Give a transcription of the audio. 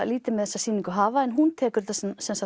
lítið með þessa sýningu hafa en hún tekur þetta